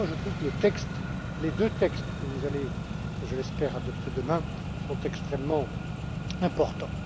Voilà pourquoi je trouve que les deux textes que vous allez, je l'espère, adopter demain sont extrêmement importants.